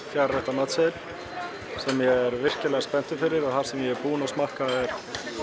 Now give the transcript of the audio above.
fjögurra rétta matseðil sem ég er virkilega spenntur fyrir og það sem ég er búinn að smakka er